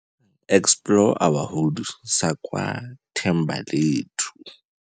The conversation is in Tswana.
Explore our Hood, sa kwa Thembalethu.